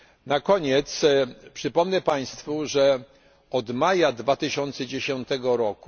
Na koniec przypomnę Państwu, że od maja 2010